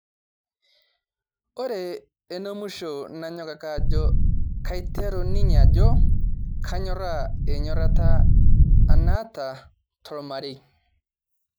Ore enemusho nanyok ake ajo kaiteru ninye ajo kanyoraa enyorata aa naata tormarei